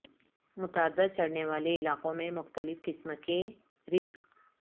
متعدد چڑھنے والے علاقوں میں مختلف قسم کے ریک